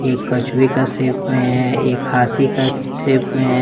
कछुए का शेप में है एक हाथी का शेप में है।